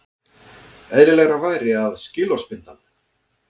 Eðlilegra væri að skilorðsbinda hann